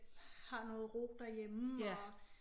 Har noget ro derhjemme og